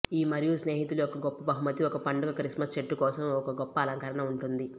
ఈ మరియు స్నేహితులు ఒక గొప్ప బహుమతి ఒక పండుగ క్రిస్మస్ చెట్టు కోసం ఒక గొప్ప అలంకరణ ఉంటుంది